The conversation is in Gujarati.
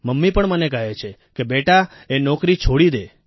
મમ્મી પણ મને કહે છે કે બેટા એ નોકરી છોડી દે